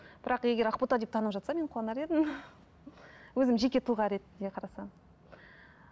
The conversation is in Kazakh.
бірақ егер ақбота деп танып жатса мен қуанар едім өзім жеке тұлға ретінде қарасам